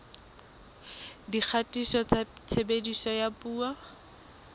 dikgatiso tsa tshebediso ya dipuo